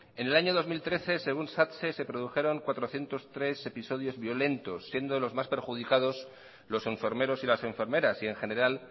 en el año dos mil trece según satse se produjeron cuatrocientos trece episodios violentos siendo los más perjudicados los enfermeros y las enfermeras y en general